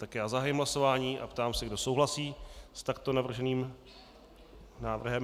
Tak já zahájím hlasování a ptám se, kdo souhlasí s takto navrženým návrhem.